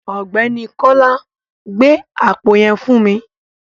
Ọ̀gbẹ́ni Kọ́lá, gbé àpò yẹn fún mi.